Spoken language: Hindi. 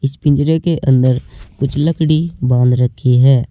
पिंजरे के अंदर कुछ लकड़ी बांध रखी है।